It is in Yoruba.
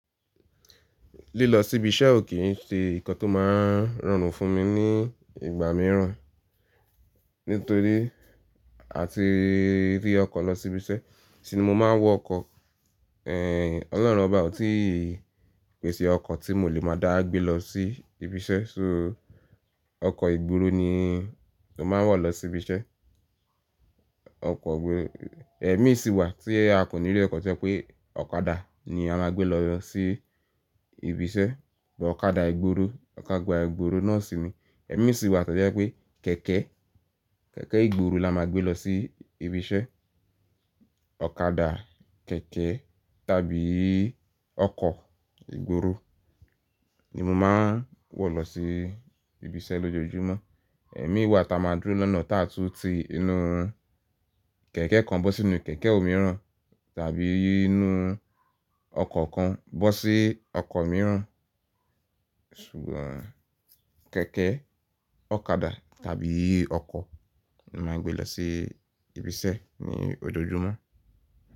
Lílọ sí ibi iṣẹ́ ò kí ń ṣe nǹkan tó máa ń rọrùn fún mi ní ìgbà mìíràn, nítorí àti rí ọkọ̀ lọ sí ibi iṣẹ́, tìí ni mo máa ń wọ ọkọ̀. Ehn, Ọlọ́run ọbá òtí pèsè ọkọ̀ tí mo lè máa dá gbé lọ sí ibi iṣẹ́, so ọkọ̀ ìgboro ni mo máa ń wọ̀ lọ sí ibi iṣẹ́. Ọkọ̀ ìgboro, ẹmi sì wà tí a kò ní rí ọkọ̀ tí ẹ pé ọ̀kadà ni a máa gbé lọ sí ibi iṣẹ́, bọ ọ̀kadà ìgboro, ọ̀kadà ìgboro náà sì ni ẹmi sì wà tojẹ pé kẹ̀kẹ́, kẹ̀kẹ́ ìgboro la máa gbé lọ sí ibi iṣẹ́. Ọ̀kadà, kẹ̀kẹ́ tàbí ọkọ̀ ìgboro ni mo máa ń wọ̀ lọ sí ibi iṣẹ́ lójoojúmọ́. Ẹmi wà táa máa dúró lọnà táa tún ti inú kẹ̀kẹ́ kan bọ́ sí inú kẹ̀kẹ́ òmíràn tàbí inú ọkọ̀ kan bọ sí ọkọ̀ mìíràn. Ṣùgbọ́n kẹ̀kẹ́, ọ̀kadà tàbí ọkọ̀ ni màá ń gbé lọ sí ibi iṣẹ́ ní ojoojúmọ́.